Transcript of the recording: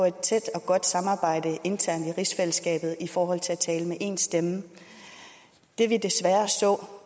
et tæt og godt samarbejde internt i rigsfællesskabet i forhold til at tale med én stemme det vi desværre så